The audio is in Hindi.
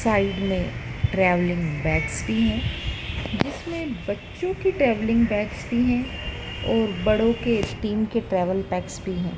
साइड में ट्रैवलिंग बैग्स भी हैं जिसमें बच्चों की ट्रैवलिंग बैग्स भी हैं और बड़ों के टीम के ट्रैवल बैग्स भी हैं।